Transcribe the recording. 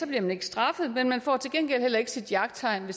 bliver man ikke straffet men man får til gengæld heller ikke sit jagttegn